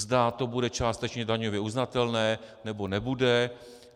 Zda to bude částečně daňově uznatelné, nebo nebude.